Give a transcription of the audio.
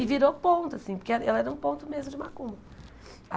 E virou ponto, assim, porque ela ela era um ponto mesmo de macumba.